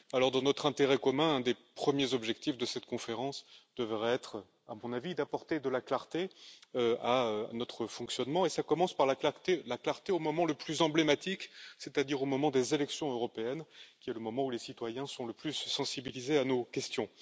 Dans notre intérêt commun, l'un des premiers objectifs de cette conférence devrait être, à mon avis, d'apporter de la clarté à notre fonctionnement et cela commence par la clarté au moment le plus emblématique, c'est à dire au moment des élections européennes, qui est celui où les citoyens sont le plus sensibilisés à nos questions.